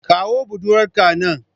Kawo buɗurwar ka nan.